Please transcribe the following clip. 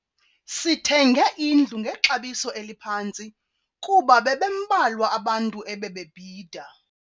Sithenge indlu ngexabiso eliphantsi kuba bebembalwa abantu ebebebhida.